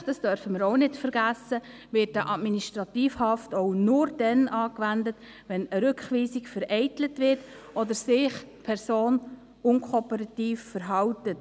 Schliesslich – dies dürfen wir auch nicht vergessen – wird eine Administrativhaft auch nur dann angewendet, wenn eine Rückweisung vereitelt wird oder sich die Person unkooperativ verhält.